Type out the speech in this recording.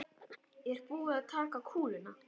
Er búið að taka kúluna?